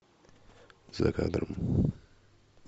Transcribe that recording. за кадром